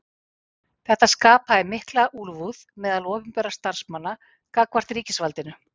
Þetta skapaði mikla úlfúð meðal opinberra starfsmanna gagnvart ríkisvaldinu.